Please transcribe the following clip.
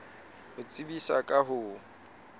ho tsebisa ka ho o